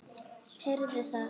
Heyrðu það!